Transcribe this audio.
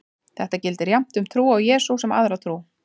Þetta gildir jafnt um trú á Jesú sem aðra trú.